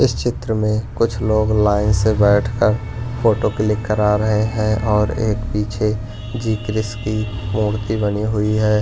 इस चित्र में कुछ लोग लाइन से बैठकर फोटो क्लिक करा रहे हैं और एक पीछे जी कृष की मूर्ति बनी हुई है।